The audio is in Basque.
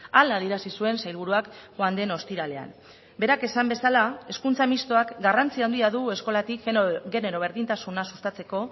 hala adierazi zuen sailburuak joan den ostiralean berak esan bezala hezkuntza mistoak garrantzia handia du eskolatik genero berdintasuna sustatzeko